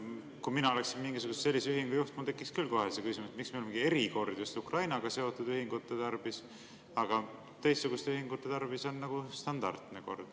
Kui mina oleksin mingisuguse sellise ühingu juht, siis mul tekiks küll kohe küsimus, miks meil on erikord just Ukrainaga seotud ühingute tarvis, aga teistsuguste tehingute tarvis on standardne kord.